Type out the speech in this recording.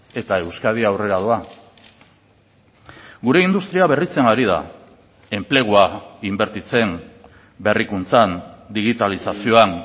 eta euskadi aurrera doa gure industria berritzen ari da enplegua inbertitzen berrikuntzan digitalizazioan